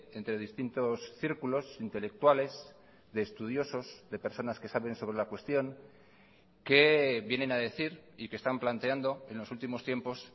entre distintos círculos intelectuales de estudiosos de personas que saben sobre la cuestión que vienen a decir y que están planteando en los últimos tiempos